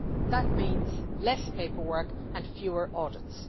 That means less paperwork and fewer audits.